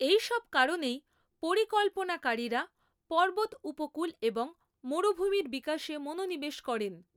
এই সব কারণেই পরিকল্পনাকারিরা পর্বত উপকূল এবং মরুভূমির বিকাশে মনোনিবেশ করেন।